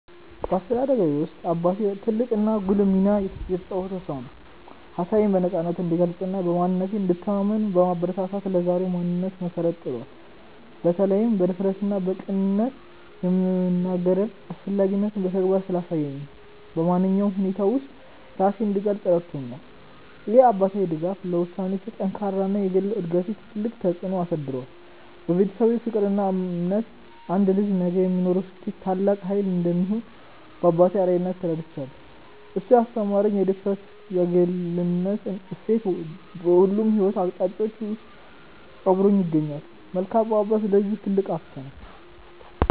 በአስተዳደጌ ውስጥ አባቴ ትልቅና ጉልህ ሚና የተጫወተ ሰው ነው። ሀሳቤን በነፃነት እንድገልጽና በማንነቴ እንድተማመን በማበረታታት ለዛሬው ማንነቴ መሰረት ጥሏል። በተለይም በድፍረትና በቅንነት የመናገርን አስፈላጊነት በተግባር ስላሳየኝ፣ በማንኛውም ሁኔታ ውስጥ ራሴን እንድገልጽ ረድቶኛል። ይህ አባታዊ ድጋፍ ለውሳኔዎቼ ጥንካሬና ለግል እድገቴ ትልቅ ተጽዕኖ አሳድሯል። ቤተሰባዊ ፍቅርና እምነት አንድ ልጅ ነገ ለሚኖረው ስኬት ትልቅ ኃይል እንደሚሆን በአባቴ አርአያነት ተረድቻለሁ። እሱ ያስተማረኝ የድፍረትና የግልነት እሴት በሁሉም የሕይወት አቅጣጫዎቼ ውስጥ አብሮኝ ይገኛል። መልካም አባት ለልጁ ትልቅ ሀብት ነው።